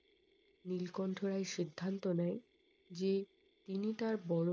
নীলকণ্ঠ রায় সিদ্ধান্ত নেয় যে তিনি তার বড়ো মেয়ে